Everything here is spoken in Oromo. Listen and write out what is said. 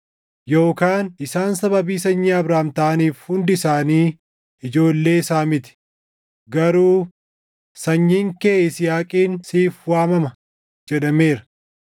Yookaan isaan sababii sanyii Abrahaam taʼaniif hundi isaanii ijoollee isaa miti. Garuu, “Sanyiin kee Yisihaaqiin siif waamama” + 9:7 \+xt Uma 21:12\+xt* jedhameera.